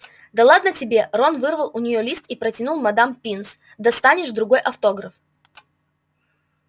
да ладно тебе рон вырвал у неё лист и протянул мадам пинс достанешь другой автограф